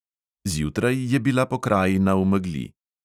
Zjutraj je bila pokrajina v megli.